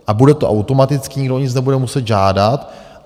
A bude to automaticky, nikdo o nic nebude muset žádat.